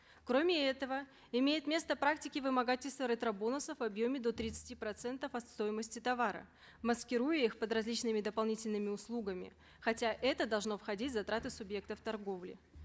кроме этого имеют место практики вымогательства ретро бонусов в объеме до тридцати процентов от стоимости товара маскируя их под различными дополнительными услугами хотя это должно входить в затраты субъектов торговли